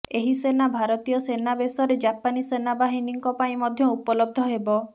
ଏହି ସେନା ଭାରତୀୟ ସେନା ବେସରେ ଜାପାନୀ ସେନାବାହିନୀଙ୍କ ପାଇଁ ମଧ୍ୟ ଉପଲବ୍ଧ ହେବ